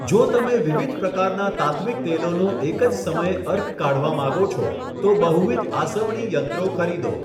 જો તમે વિવિધ પ્રકારના તાત્ત્વિક તેલોનો એક જ સમયે અર્ક કાઢવા માંગો છો, તો બહુવિધ આસવણી યંત્રો ખરીદો.